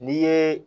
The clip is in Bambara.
N'i ye